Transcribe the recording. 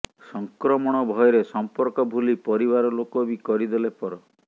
ସଂକ୍ରମଣ ଭୟରେ ସଂପର୍କ ଭୁଲି ପରିବାର ଲୋକ ବି କରିଦେଲେ ପର